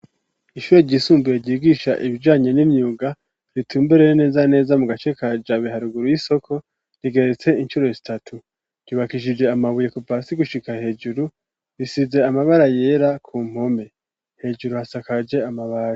Ishure ryisumbuye ryigisha ibijanye n'imyuga ritumberere neza neza mu gace ka Jabe iri haruguru y'isoko rigeretse inshuro zitatu ryubakishije amabuye kuva hasi gushika hejuru risize amabara yera ku mpome hejuru hasakaje amabare.